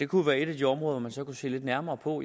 kunne være et af de områder hvor man så kunne se lidt nærmere på